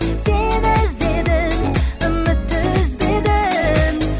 сені іздедім үмітті үзбедім